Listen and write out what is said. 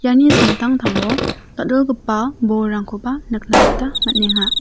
iani samtangtango dal·dalgipa bolrangkoba nikna gita man·enga.